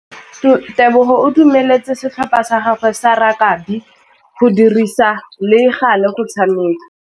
Tebogô o dumeletse setlhopha sa gagwe sa rakabi go dirisa le galê go tshameka.